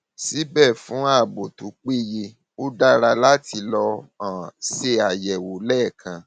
síbẹ fún ààbò tó péye ó dára láti lọ um ṣe àyẹwò lẹẹkan